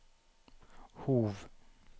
Hov